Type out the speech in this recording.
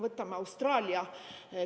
Võtame Austraalia.